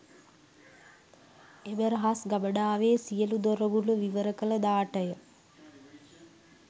එම රහස් ගබඩාවේ සියලු දොරගුළු විවර කළ දාට ය.